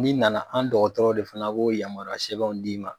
N'i nana an dɔgɔtɔrɔ de fana b'o yamaruya sɛbɛnw d'i ma.